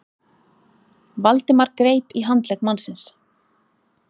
Valdimar greip í handlegg mannsins.